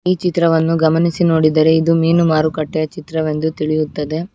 ಈ ಚಿತ್ರವನ್ನು ಗಮನಿಸಿ ನೋಡಿದರೆ ಇದು ಮೀನು ಮಾರುಕಟ್ಟೆ ಚಿತ್ರವೆಂದು ತಿಳಿಯುತ್ತದೆ.